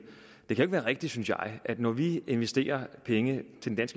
det kan være rigtigt synes jeg at vi når vi investerer penge